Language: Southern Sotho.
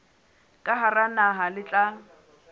ka hara naha le tla